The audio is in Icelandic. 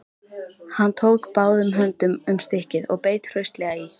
Hann tók báðum höndum um stykkið og beit hraustlega í.